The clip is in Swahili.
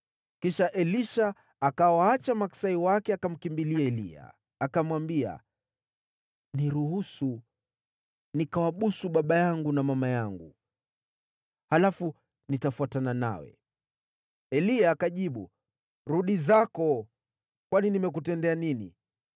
Kisha Elisha akawaacha maksai wake, akamkimbilia Eliya, akamwambia, “Niruhusu nikawabusu baba yangu na mama yangu, halafu nitafuatana nawe.” Eliya akajibu, “Rudi zako, kwani nimekutendea nini?”